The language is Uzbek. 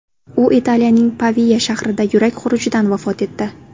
U Italiyaning Pavia shahrida yurak xurujidan vafot etdi.